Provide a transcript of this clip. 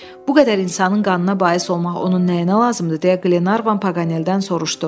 Bu qədər insanın qanına bais olmaq onun nəyinə lazımdır deyə Qlenarvan Paqaneldən soruşdu.